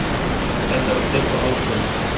Þetta var þeirra ákvörðun.